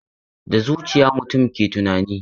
Da zuciya mutum ke tunani.